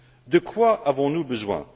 De quoi avons nous besoin?